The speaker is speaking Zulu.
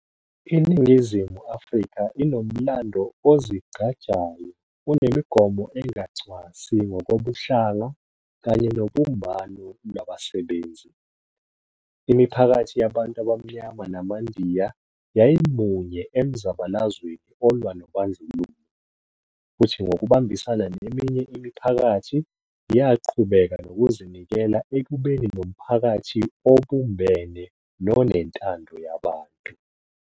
INingizimu Afrika inomlando ozigqajayo onemigomo engacwasi ngokobuhlanga kanye nobumbano lwabasebenzi. Imiphakathi yabantu abaMnyama namaNdiya yayimunye emzabalazweni olwa nobandlululo, futhi ngokubambisana neminye imiphakathi, yaqhubeka nokuzinikela ekubeni nomphakathi obumbene nonentando yabantu.